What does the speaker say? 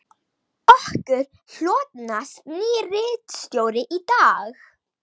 Okkur hlotnast nýr ritstjóri í dag